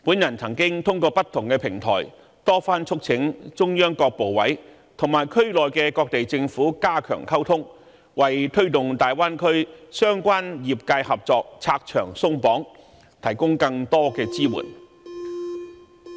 我曾透過不同平台多番促請中央各部委加強與區內各地政府溝通，為推動大灣區相關業界合作拆牆鬆綁，提供更多支援。